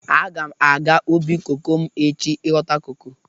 Aga m aga ubi koko m echi ịghọta koko.